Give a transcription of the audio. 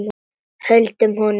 Höldum honum!